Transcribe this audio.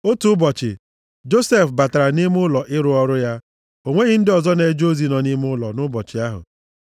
Otu ụbọchị, Josef batara nʼime ụlọ ịrụ ọrụ ya. O nweghị ndị ọzọ na-eje ozi nọ nʼime ụlọ nʼụbọchị ahụ.